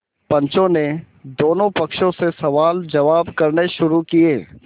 पंचों ने दोनों पक्षों से सवालजवाब करने शुरू किये